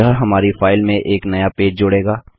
यह हमारी फाइल में एक नया पेज जोड़ेगा